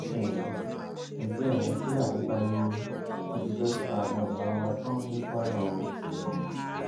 um ẹgbẹ àwọn fúlàní pariwo wọn ti fẹẹ pa àwọn èèyàn wa tán ní kwara o um